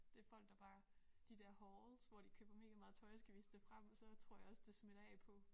Det folk der bare de der hauls hvor de køber megameget tøj og skal vise det frem og så tror jeg også det smitter af på